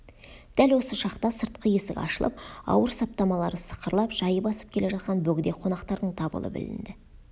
дәл осы шақта сыртқы есік ашылып ауыр саптамалары сықырлап жай басып келе жатқан бөгде қонақтардың дабылы білінді